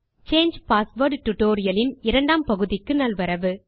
சாங்கே password tutorial இன் இரண்டாம் பகுதிக்கு நல்வரவு